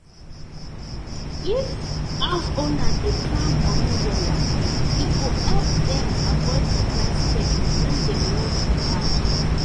if house owner dey plan moni wella e go help dem avoid surprise spending when dem wan move house